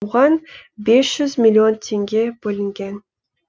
оған бес жүз миллион теңге бөлінген